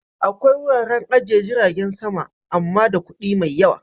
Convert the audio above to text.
Akwai wuraren ajiyar jiragen sama amma da kuɗi mai yawa